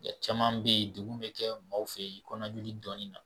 Nka caman bɛ yen degun bɛ kɛ maaw fɛ yen kɔnɔnajoli dɔɔnin na